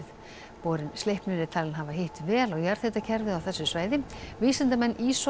borinn Sleipnir er talinn hafa hitt vel á jarðhitakerfið á þessu svæði vísindamenn